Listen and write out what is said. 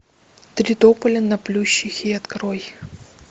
три тополя на плющихе открой